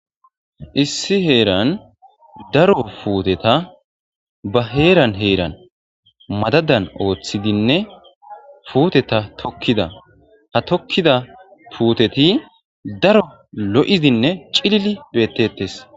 Issi heran daro puteta ba heran heran madadan othidinne puteta tokida ha tokida puteti daro lo'idinne c'ililidi betetes.